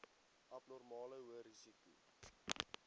abnormale hoë risiko